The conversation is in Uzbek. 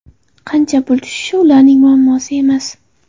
Qancha pul tushishi ularning muammosi emas.